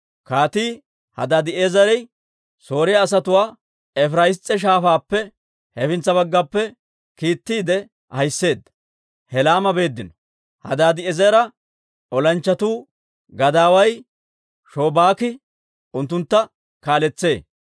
Kaatii Hadaadi'eezere Sooriyaa asatuwaa Efiraas'iisa Shaafaappe hefintsa baggappe kiittiide ahiseedda; Helaama beeddino. Hadaadi'eezera olanchchatuu gadaaway Shobaaki unttuntta kaaletsee.